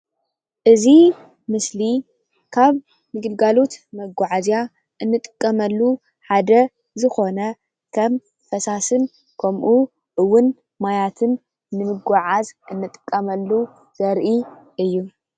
እዚ ምስሊ ካብ ግልጋሎት መጓዓዝያ እንጥቀመሉ ሓደ ዝኮነ ከም ፈሳስን ከምኡ'ውን ማያትን ንምጉዕዓዝ ንጥቀመሉ ዘርኢ እዩ።